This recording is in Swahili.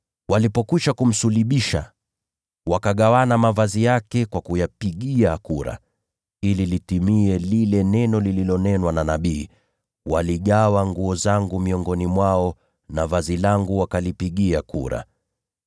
Walipokwisha kumsulubisha wakagawana mavazi yake kwa kuyapigia kura. [Hili lilifanyika ili litimie lile neno lililonenwa na nabii, “Waligawa nguo zangu miongoni mwao na vazi langu wakalipigia kura.”]